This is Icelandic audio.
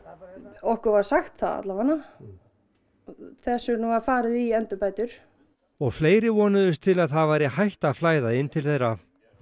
okkur var sagt það allavega þess vegna var farið í endurbætur og fleiri vonuðust til að það væri hætt að flæða inn til þeirra